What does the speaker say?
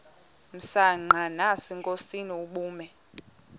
msanqa nasenkosini ubume